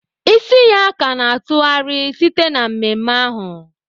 Isi ya ka na-atụgharị site na mmemme ahụ